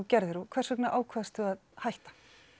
gerðir þú og hvers vegna ákvaðstu að hætta